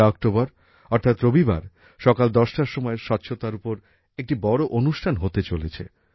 ১লা অক্টোবর অর্থাৎ রবিবার সকাল দশটার সময় স্বচ্ছতার ওপর একটি বড় অনুষ্ঠান হতে চলেছে